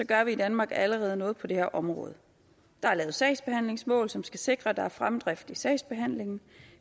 gør vi i danmark allerede noget på det her område der er lavet sagsbehandlingsmål som skal sikre at der er fremdrift i sagsbehandlingen